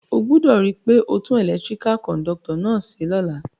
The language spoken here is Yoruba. O gbúdò ri pe o tun electrical conductor náà se lóla